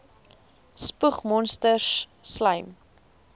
spoeg monsters slym